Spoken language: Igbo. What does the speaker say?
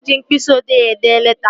O ji mkpịsị odee ya ede leta